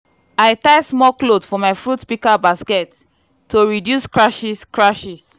i tie small cloth for my fruit picker basket to reduce scratches. scratches.